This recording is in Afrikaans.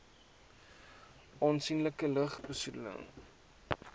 aansienlike lug besoedeling